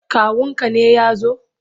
Kawunka ne ya zo?